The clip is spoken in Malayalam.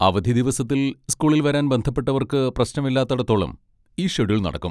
അവധിദിവസത്തിൽ സ്കൂളിൽ വരാൻ ബന്ധപ്പെട്ടവർക്ക് പ്രശ്നമില്ലാത്തേടത്തോളം, ഈ ഷെഡ്യൂൾ നടക്കും.